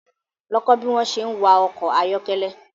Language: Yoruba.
Lọ kó bi wón se ń wa ọkọ̀ ayọ́kẹ́lẹ́